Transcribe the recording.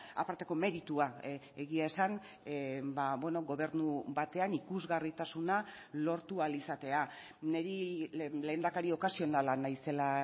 aparteko meritua egia esan gobernu batean ikusgarritasuna lortu ahal izatea niri lehendakari okasionala naizela